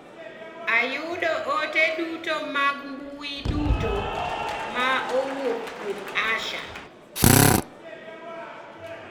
Ayudo ote duto mag mmbui duto ma owuok kuom Asha.